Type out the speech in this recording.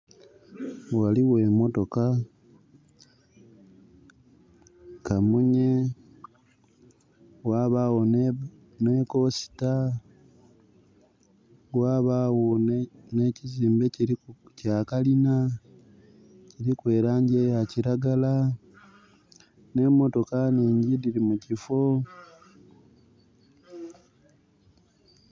Ghaligho emotoka, kamunye, ghabagho nhi coaster, ghabagho n'ekizimbe kya kalina, kuliku elaangi eya kiragala. N'emotoka nhingyi dhili mu kifo.